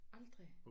Aldrig